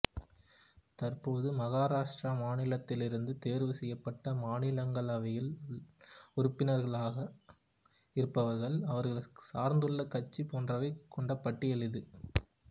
தற்போது மகாராஷ்டிரா மாநிலத்திலிருந்து தேர்வு செய்யப்பட்டு மாநிலங்களவையில் உறுப்பினர்களாக இருப்பவர்கள் அவர்கள் சார்ந்துள்ள கட்சி போன்றவை கொண்ட பட்டியல் இது